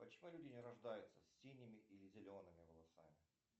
почему люди не рождаются с синими или зелеными волосами